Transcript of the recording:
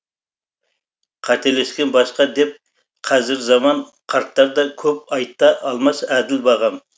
қателескен басқа деп қазір заман қарттар да көп айта алмас әділ бағам